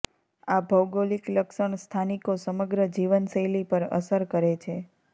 આ ભૌગોલિક લક્ષણ સ્થાનિકો સમગ્ર જીવનશૈલી પર અસર કરે છે